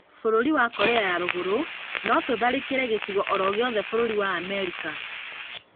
Bũrũri wa Korea ya rũrũgũrũ: notũtharĩkĩre gĩcigo oro gĩothe bũrũri wa Amerika